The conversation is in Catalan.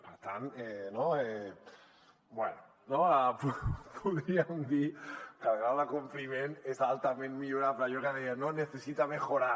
per tant bé podríem dir que el grau de compliment és altament millorable allò que deien no necesita mejorar